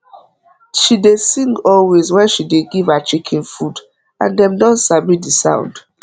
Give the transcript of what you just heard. she dey sing always wen she dey give her chicken food and dem don sabi the sound